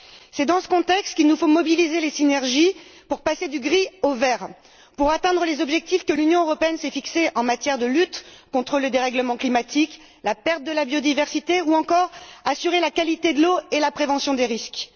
C'est dans ce contexte qu'il nous faut mobiliser les synergies pour passer du gris au vert, pour atteindre les objectifs que l'Union européenne s'est fixés en matière de lutte contre le dérèglement climatique et la perte de la biodiversité ou, encore, pour assurer la qualité de l'eau et la prévention des risques.